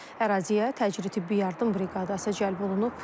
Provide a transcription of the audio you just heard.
Əraziyə təcili tibbi yardım briqadası cəlb olunub.